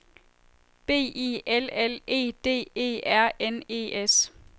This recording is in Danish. B I L L E D E R N E S